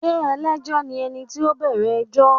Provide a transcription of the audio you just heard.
Ṣé ẹlẹ́jọ́ ni ẹni tí ó bẹ̀rẹ̀ ẹjọ́?